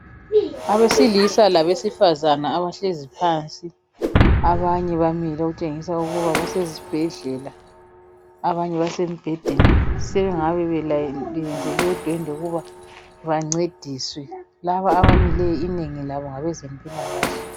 Abesilisa labesifazana abahlezi phansi abanye bamile okutshengisa ukuba basezibhedlela abanye basemibhedeni sebengabe belayinile beyenzelwe udwendwe ukuba bancediswe laba abamileyo inengi labo ngabezempilakhe.